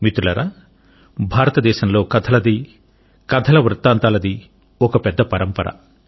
మిత్రులారా భారతదేశంలో కథలది కథల వృత్తాంతాలది ఒక పెద్ద పరంపర